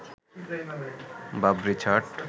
Babri ছাট